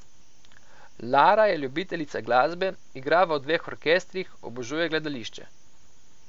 Lara je ljubiteljica glasbe, igra v dveh orkestrih, obožuje gledališče.